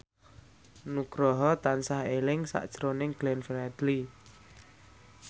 Nugroho tansah eling sakjroning Glenn Fredly